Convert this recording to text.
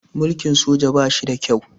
Mulkin sojoji ba shi da kyau